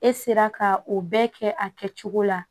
E sera ka o bɛɛ kɛ a kɛcogo la